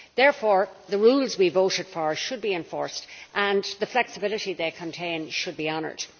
Therefore, the rules we voted for should be enforced and the flexibility they contain should be honoured.